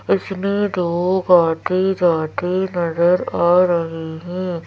आते जाते नजर आ रहे हैं।